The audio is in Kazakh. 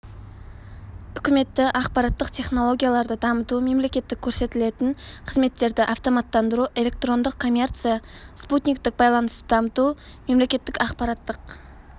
үкіметті ақпараттық технологияларды дамыту мемлекеттік көрсетілетін қызметтерді автоматтандыру электрондық коммерция спутниктік байланысты дамыту мемлекеттік ақпараттық